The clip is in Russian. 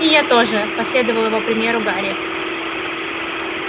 и я тоже последовал его примеру гарри